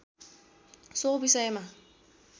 so विषयमा